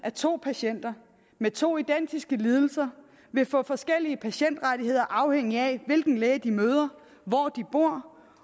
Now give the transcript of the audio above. at to patienter med to identiske lidelser vil få forskellige patientrettigheder afhængigt af hvilken læge de møder hvor de bor